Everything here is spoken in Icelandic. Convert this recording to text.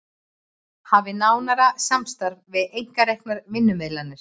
Hafi nánara samstarf við einkareknar vinnumiðlanir